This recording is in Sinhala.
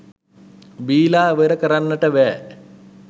බීලා ඉවර කරන්ට බෑ.